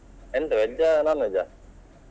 ಎಂತ veg ಆ non-veg ಆ?